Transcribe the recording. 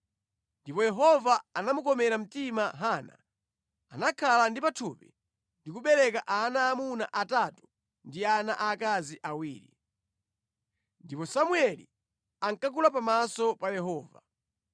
Ndipo Yehova anamukomera mtima Hana. Anakhala ndi pathupi ndi kubereka ana aamuna atatu ndi ana aakazi awiri. Ndipo Samueli ankakula pamaso pa Yehova.